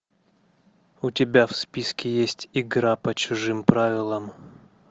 у тебя в списке есть игра по чужим правилам